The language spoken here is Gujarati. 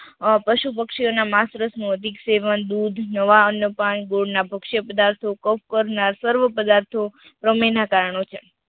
આહ પશુ પક્ષીઓ ના માંસ રસ નું અધિક સેવન, દૂધ, નાવણ ને પણ ગુણ ના પક્ષ્યઃ પદાર્થો કફ પરના સર્વ પદાર્થો પ્રમેય ના કારણો છે.